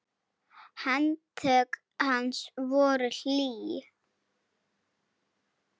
Handtök hans voru hlý.